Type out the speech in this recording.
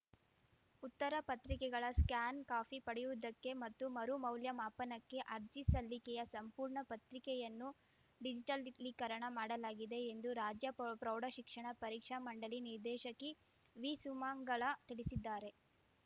ಉತ್ತರ ಪತ್ರಿಕೆಗಳ scan copy ಪಡೆಯುವುದಕ್ಕೆ ಮತ್ತು ಮರು ಮೌಲ್ಯಮಾಪನಕ್ಕೆ ಅರ್ಜಿ ಸಲ್ಲಿಕೆಯ ಸಂಪೂರ್ಣ ಪತ್ರಿಕೆಯನ್ನು ಡಿಜಿಟಲೀಕರಣ ಮಾಡಲಾಗಿದೆ ಎಂದು ರಾಜ್ಯ ಪೌ ಪ್ರೌಢಶಿಕ್ಷಣ ಪರೀಕ್ಷಾ ಮಂಡಳಿ ನಿರ್ದೇಶಕಿ ವಿ ಸುಮಂಗಲಾ ತಿಳಿಸಿದ್ದಾರೆ